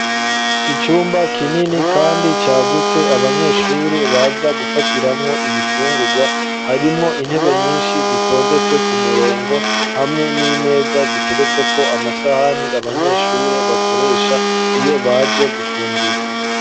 Icumba kinini, kandi cagutse abanyeshuri baza gufatiramwo ibifungurwa harimwo intebe nyinshi zitondetse ku murongo hamwe n'imeza ziteretse ko amasahani abanyeshure bakoresha iyo baje gufungura.